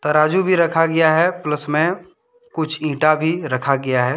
तराजू भी रखा गया है प्लस में कुछ इटा भी रखा गया है।